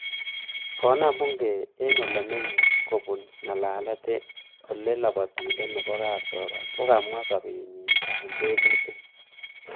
Konam bungei eng olemenyei kobun ngalalet ole lapatindet nebo kapchorwo kokamwa sobet nyi eng tebutik